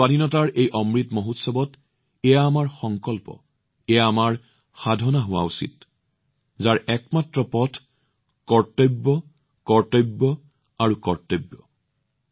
স্বাধীনতাৰ এই অমৃত মহোৎসৱত এইটো আমাৰ সংকল্প হব লাগে আৰু এয়া আমাৰ সাধনা হব লাগে আৰু ইয়াৰ একমাত্ৰ এটাই পথ আছে কৰ্তব্য কৰ্তব্য আৰু কৰ্তব্য